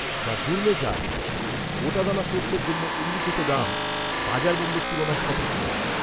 The gourmet jar, গোটাদানা সর্ষের জন্য উল্লিখিত দাম বাজার মূল্যের তুলনায় সঠিক নয়।